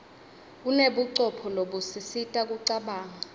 unebucopho lobusisita kucabanga